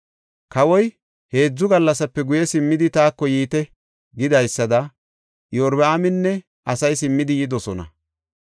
Kawoy, “Heedzu gallasape guye simmidi taako yiite” gidaysada Iyorbaaminne asay simmidi yidosona.